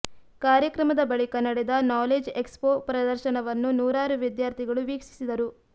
ಕಾರ್ಯಕ್ರಮದ ಬಳಿಕ ನಡೆದ ನಾಲೇಜ್ ಎಕ್ಸ್ಪೋ ಪ್ರದರ್ಶನವನ್ನು ನೂರಾರು ವಿದ್ಯಾರ್ಥಿಗಳು ವೀಕ್ಷಿಸಿದರು